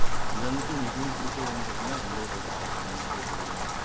இதுல வந்துட்டு மிகவும் பிடிச்சது எதுன்னு பாத்தீங்கன்னா வெள்ளை ரோஜா அது உங்களுக்கே தெரியும்